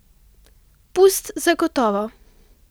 Pust zagotovo!